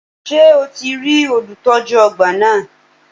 Ṣé o ti rí olùtọ́jú ọgbà náà?